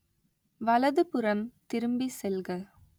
வலதுபுறம் திரும்பி செல்க